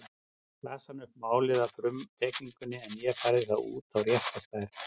Las hann upp málið af frumteikningunni en ég færði það svo út í rétta stærð.